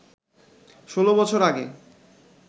১৬ বছর আগে